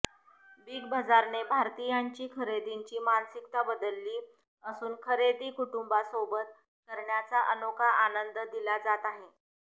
big बझारने भारतीयांची खरेदीची मानसिकता बदलली असून खरेदी कुटुंबासोबत करण्याचा अनोखा आनंद दिला जात आहे